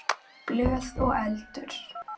Blöð og eldur.